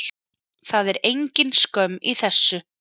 Það er engin skömm í þessu.